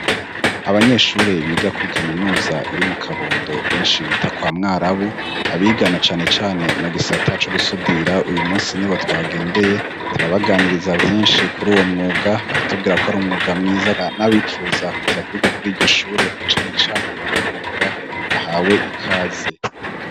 Abanyeshure biga kuri kaminuza iri mukabondo benshi bita kwa mwarabu abiga nacanecane mugisata co gusudira uyumunsi nibo twagendeye turabaganiriza vyinshi kuri uwomwuga baratubwira ko ar'umwuga mwiza nabipfuza kuza kwiga kuri iryoshure nacanecane uwomwuga bahawe ikaze.